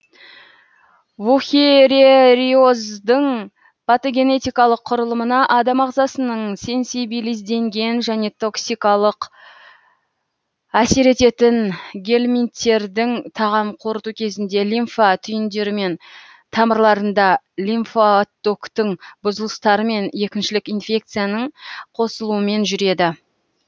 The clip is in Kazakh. вухерериоздың патогенетикалық құрылымына адам ағзасының сенсибилизденген және токсикалық әсер ететін гельминттердің тағам қорыту кезінде лимфа түйіндерімен тамырларында лимфаоттоктың бұзылыстарымен екіншілік инфекцияның қосылуымен жүреді